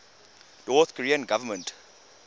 north korean government